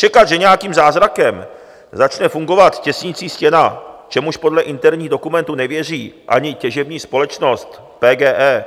Čekat, že nějakým zázrakem začne fungovat těsnicí stěna, čemuž podle interních dokumentů nevěří ani těžební společnost PGE,